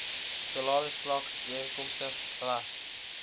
salarisvlak ooreenkomstig ras